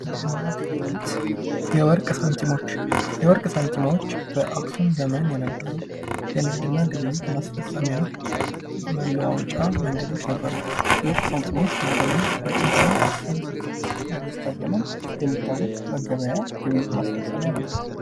ንግድና ግብይት የወርቅ ሳንቲሞች፤ የወርቅ ሳንቲሞች በአክሱም ዘመን የነበሩ የንግድና ግብይት ማስፈፀሚያ መለዋወጫ መንገዶች ነበሩ የሚታወቅ መገበያ ግብይት ማስፈፀሚያ ነበር።